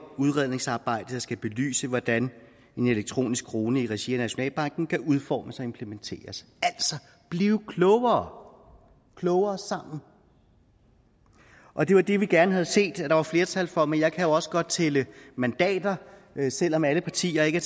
udredningsarbejde der skal belyse hvordan en elektronisk krone i regi af nationalbanken kan udformes og implementeres altså bliver klogere klogere sammen og det var det vi gerne havde set at der var flertal for men jeg kan jo også godt tælle mandater selv om alle partier ikke